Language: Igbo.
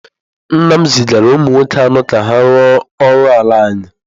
Nna m zigara ụmụ nwoke anọ ka ha rụọ ọrụ ala anyị.